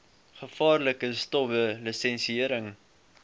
gevaarlike stowwe lisensiëring